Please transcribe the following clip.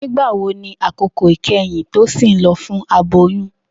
Nigbawo ni akoko ikẹhin Tosin lọ fun aboyun?